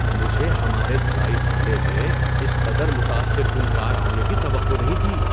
مجھے ہمارے دھلائی خانے میں اس قدر متاثر کن کار آنے کی توقع نہیں تھی۔